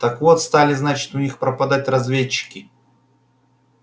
так вот стали значит у них пропадать разведчики